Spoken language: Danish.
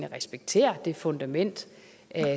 respektere det fundament